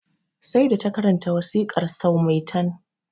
Sai da ta karanta wasikar sai maitan